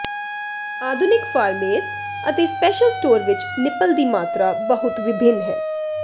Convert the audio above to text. ਆਧੁਨਿਕ ਫਾਰਮੇਸ ਅਤੇ special store ਵਿੱਚ ਨਿਪਲ ਦੀ ਮਾਤਰਾ ਬਹੁਤ ਵਿਭਿੰਨ ਹੈ